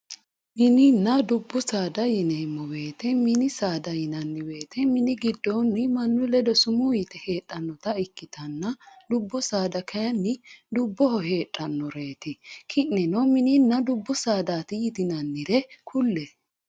Mininna dubu saada yinemo woyite mini saada yinanni woyite minu gigonni manu leddo summu yite hedhanita ikitanna dubbu saada kayinni duboho hedhanoreti keneni minninna dubu sadatti yitinanire kulle